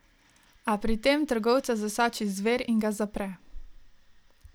A pri tem trgovca zasači zver in ga zapre.